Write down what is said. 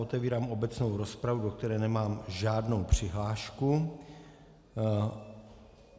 Otevírám obecnou rozpravu, do které nemám žádnou přihlášku.